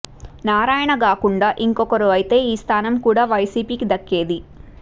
నారాయణ గాకుండా ఇంకొకరు అయితే ఈ స్థానం కూడా వైసీపీ కి దక్కేది